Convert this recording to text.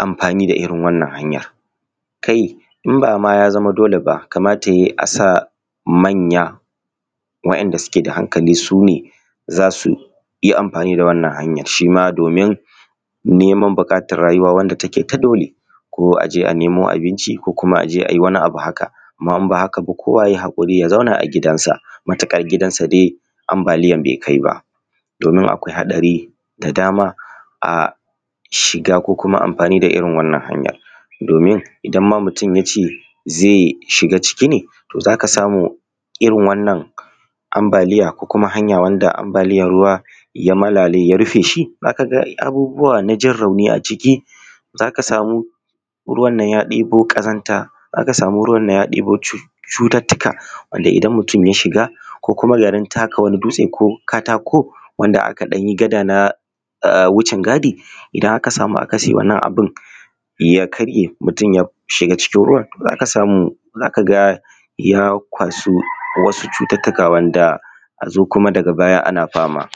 amfani da irin wannan hanya. Kila idan ba ma ya zama dole ba, kamata ya yi a sa manya waɗanda suke da hankali su ne za su iya amfani da wannan hanya shi ma domin buƙatar neman abun da ya yake rayuwa shi ma dole ne a nemo abin ci ko a yi wani abu haka idan ba haka ba kowa ya yi hakuri ya zauna a gidansa matuƙar gidan nasa ambaliyar bai kai ba domin akwai haɗari da dama shiga cikin ko kuma a irin wannan hanyar domin idan ma mutum ya ce zai shiga ciki ne za ka samu irin wannan ambaliyar, ko kuma hanya ruwa ya malale ya rufe shi, za ka ga abubuwa na jin rauni a ciki za ka samu ruwan nan ya ɗebo ƙazanta za ka samu ruwan nan ya ɗebo cututtuka wanda idan mutum ya shiga ko kuma garin taka wani dutse wanda aka ɗan yi gada na wucin gada idan aka sama akasi na wannan abun ya karye mutum ya shiga cikin ruwan. Za ka samu ya kwashi wasu cututtuka a zo kuma daga baya ana fama.